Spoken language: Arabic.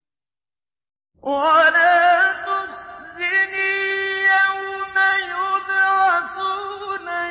وَلَا تُخْزِنِي يَوْمَ يُبْعَثُونَ